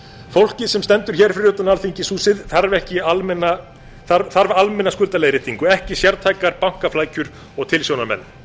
fólkið sem stendur hér fyrir utan alþingishúsið þarf almenna skuldaleiðréttingu ekki sértækar bankaflækjur og tilsjónarmenn